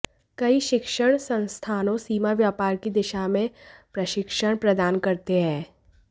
कई शिक्षण संस्थानों सीमा व्यापार की दिशा में प्रशिक्षण प्रदान करते हैं